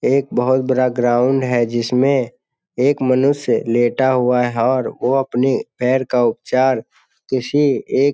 एक बोहोत बड़ा ग्राउंड है जिसमे एक मनुष्य लेटा हुआ है और वो अपनी पैर का उपचार किसी एक --